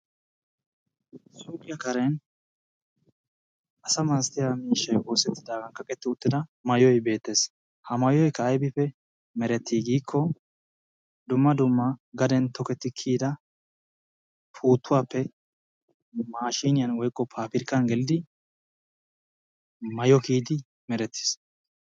Suuqiyaa Karen asaa masatiyaa miishshay oosettidaagaa kaqettidi uttida maayoy beettes. Haa maayoy ayibippe meretti gikko dumma dummaa gaden tokettidi kiyida puuttuwappe maashiniyan woykko paabirikkan gelidi maayuwaa kiyidi merettiis.